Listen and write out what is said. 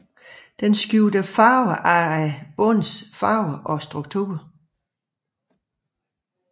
Den skifter farve efter bundens farve og struktur